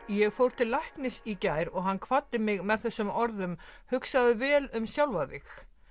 ég fór til læknis í gær og hann kvaddi mig með þessum orðum hugsaðu vel um sjálfa þig